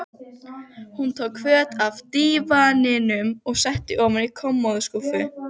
Hún tók föt af dívaninum og setti ofan í kommóðuskúffu.